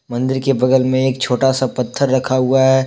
मंदिर के बगल में एक छोटा सा पत्थर रखा हुआ है।